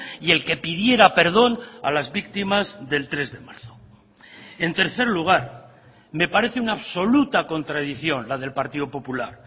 y el que pidiera perdón a las víctimas del tres de marzo en tercer lugar me parece una absoluta contradicción la del partido popular